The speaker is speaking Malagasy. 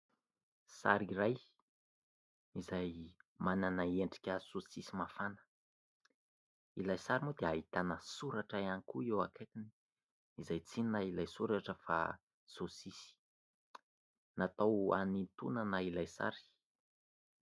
Sary iray izay manana endrika saosisy mafana, ilay sary moa dia ahitana soratra ihany koa eo akaikiny, izay tsy inona ilay soratra fa saosisy natao hanintonana ilay sary.